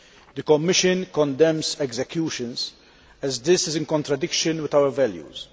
The Commission condemns executions as they are in contradiction with our values.